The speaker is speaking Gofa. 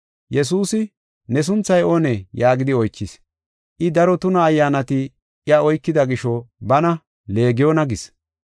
Yesuusi, “Ne sunthay oone” yaagidi oychis. I, daro tuna ayyaanati iya oykida gisho bana, “Leegiyona” gis.